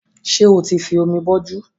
Ṣé o ti fi omi bọjú